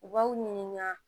U b'aw ɲininka